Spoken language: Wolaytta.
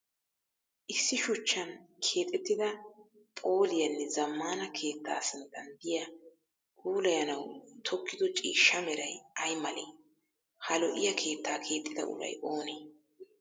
Issi shuchchan keexettida phooliyaanne zammaana keettaa sinttan diya puulayanawu tokkido ciishsha meray ay malee? Ha lo'iya keettaa keexxida uray oonee?